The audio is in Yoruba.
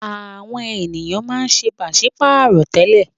Àwọn ènìyàn máa ń ṣe pàṣí-pààrọ̀ tẹ́lẹ̀.